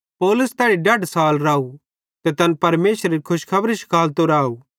पौलुस तैड़ी डढ साल राव ते तैन परमेशरेरी खुशखबरी शिखालतो राव